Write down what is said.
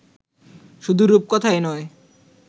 শুধু রূপকথাই নয়